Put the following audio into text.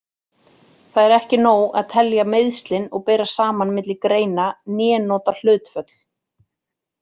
Það er ekki nóg að telja meiðslin og bera saman milli greina né nota hlutföll.